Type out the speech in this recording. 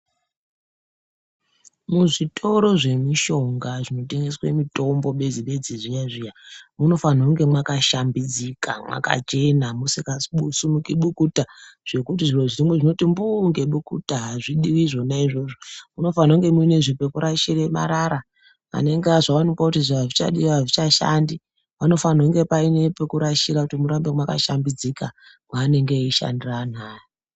Muzvitoro zvemishonga zvinotengeswe mutombo bedzi bedzi zviya zviya munofana kunge makashambidzika mwakachena musingazi kusumuke bukuta zvekuti zviro zvimweni zvinoti mbuu nge mbukuta azvidiwi zvona izvozvo munofanirwa kunge mune zve pekurashire marara anenge azoonekwa kuti izvi hazvichadiwi izvi hazvichashandi vanofaniwa kunge painepekurashira kuti murambe makashambidzika mwanenge eyishandira anhu aya.